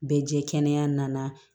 Bɛɛ jɛ kɛnɛ nana